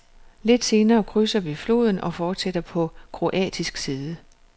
Lidt senere krydser vi floden og fortsætter på kroatisk side.